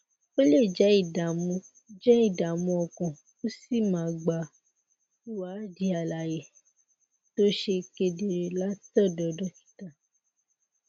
o lè jẹ ìdààmú jẹ ìdààmú ọkàn ó sì máa gba ìwádìí àlàyé tó ṣe kedere látọdọ dókítà